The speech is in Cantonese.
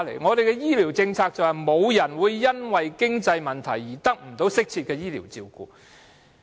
本港的醫療政策則提出，沒有人會因經濟問題而得不到適切的醫療照顧。